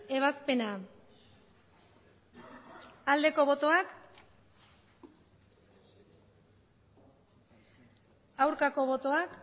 ebazpena aldeko botoak aurkako botoak